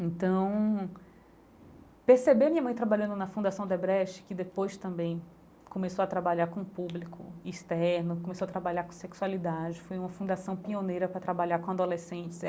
Então, perceber minha mãe trabalhando na Fundação Odebrecht, que depois também começou a trabalhar com público externo, começou a trabalhar com sexualidade, foi uma fundação pioneira para trabalhar com adolescentes.